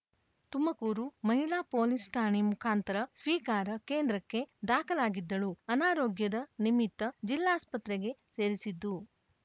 ತುಮಕೂರು ಮಹಿಳಾ ಪೊಲೀಸ್ ಠಾಣೆ ಮುಖಾಂತರ ಸ್ವೀಕಾರ ಕೇಂದ್ರಕ್ಕೆ ದಾಖಲಾಗಿದ್ದಳು ಅನಾರೋಗ್ಯದ ನಿಮಿತ್ತ ಜಿಲ್ಲಾಸ್ಪತ್ರೆಗೆ ಸೇರಿಸಿದ್ದು